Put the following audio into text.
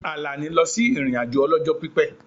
Àlàní lọ sí ìrìn-àjò ọlọ́jọ́ pípẹ́